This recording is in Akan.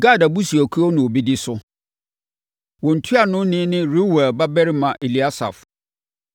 Gad abusuakuo na wɔbɛdi so. Wɔn ntuanoni ne Reuel babarima Eliasaf.